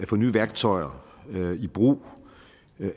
få nye værktøjer i brug